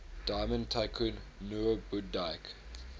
diamond tycoon nwabudike